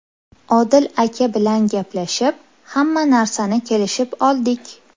Odil aka bilan gaplashib, hamma narsani kelishib oldik.